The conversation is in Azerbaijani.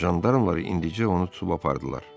Jandarmalar indicə onu tutub apardılar.